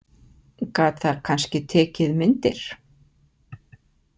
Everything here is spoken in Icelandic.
Gat það kannski tekið myndir?